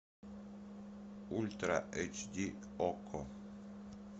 ультра эйч ди окко